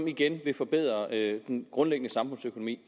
igen vil forbedre den grundlæggende samfundsøkonomi